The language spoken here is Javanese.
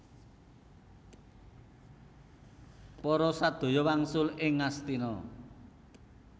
Para sadaya wangsul ing Ngastina